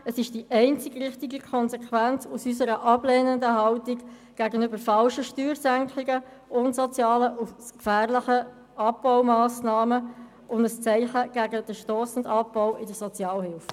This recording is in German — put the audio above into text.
Es ist die einzig richtige Konsequenz aus unserer ablehnenden Haltung gegenüber falschen Steuersenkungen, unsozialen und gefährlichen Abbaumassnahmen, und es ist ein Zeichen gegen den stossenden Abbau der Sozialhilfe.